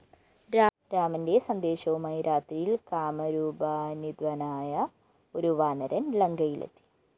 രാമന്റെ സന്ദേശവുമായി രാത്രിയില്‍ കാമരൂപാന്വിതനായ ഒരു വാനരന്‍ ലങ്കയിലെത്തി